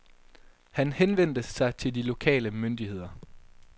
Han henvendte sig til de lokale myndigheder.